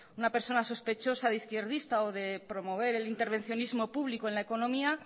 una persona sospechosa de izquierdista o de promover el intervencionismo público en la economía